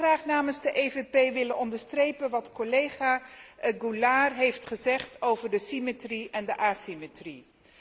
Ik zou ook graag namens de PPE willen onderstrepen wat collega Goulard heeft gezegd over de symmetrie en de asymmetrie.